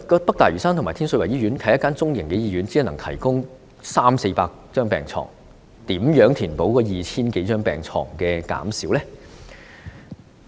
北大嶼山醫院和天水圍醫院均是中型醫院，只能夠提供三四百張病床，如何填補減少的 2,000 多張病床呢？